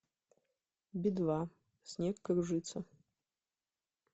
би два снег кружится